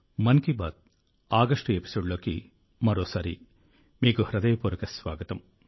Mann Ki Baat August ఎపిసోడ్లోకి మరోసారి మీకు హృదయపూర్వక స్వాగతం